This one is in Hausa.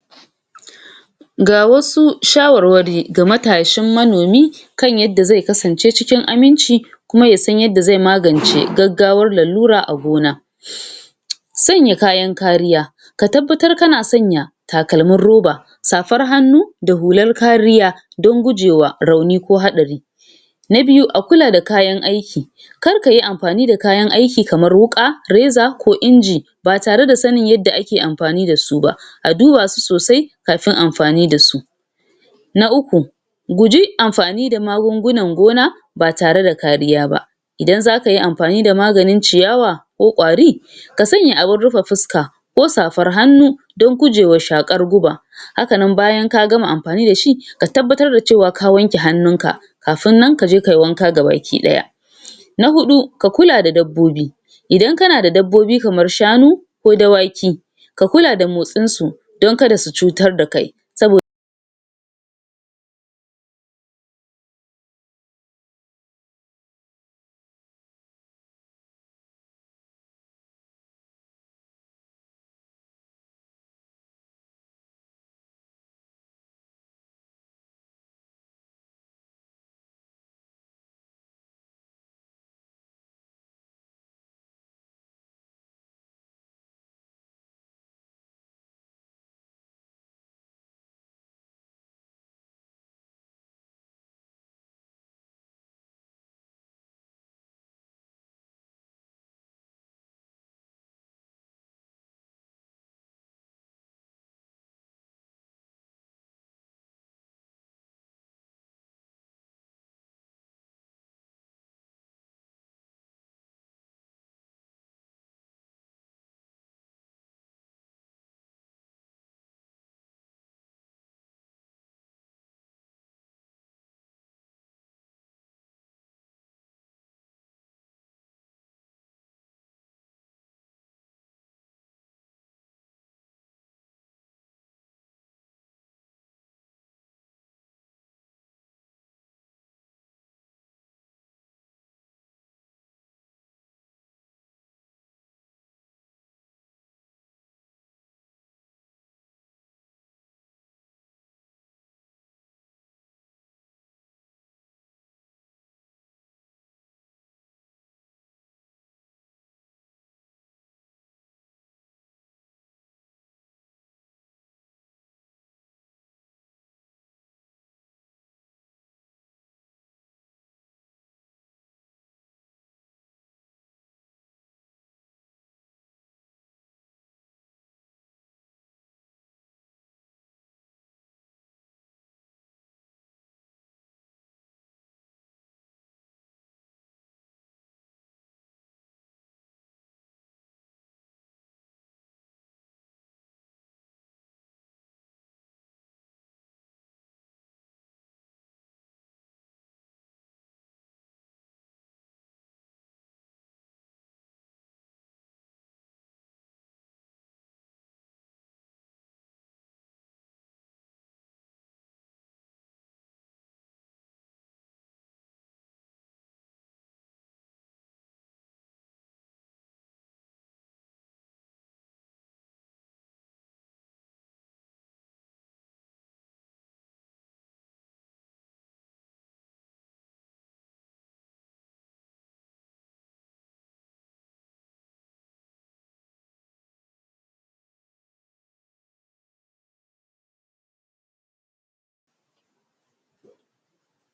Ga wasu shawarwari ga matashin manomi kan yadda ze kasance cikin aminci, kuma yasan yadda ze magance gaggawar lalura a gona, sanya kayan kariya ka tabbatar kana sanya takalminrroba, safar hannu, da hular kariya, don gujewa rauni ko haɗari. Na biyu: A kula da kayan aiki kar kayi amfani da kayan aiki kamar wuƙa, reza ko inji, ba tare da sanin yadda ake amfani da su ba, a duba su sosai kafin amfani da su. Na uku: Guji amfani da magungunan gona ba tare da kariya ba, idan zaka yi amfani da maganin ciyawa ko ƙwari, ka sanya abun rufe fuska ko safar hannu don gujewa shaƙar guba, haka nan bayan ka gama amfani da shi ka tabbatar da cewa ka wanke hanninka kafin nan kazo kai wanga ga baki ɗaya.. Na huɗu: Ka kula da dabbobi idan kana da dabbobi kamar shanu ko dawaki, ka kula da motsinsu don kada su cutar da kai sabo